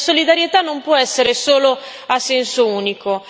Vede, la solidarietà non può essere solo a senso unico.